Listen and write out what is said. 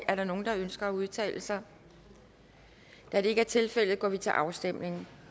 er der nogen der ønsker at udtale sig da det ikke er tilfældet går vi til afstemning